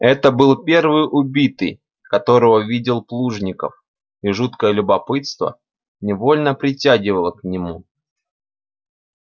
это был первый убитый которого видел плужников и жуткое любопытство невольно притягивало к нему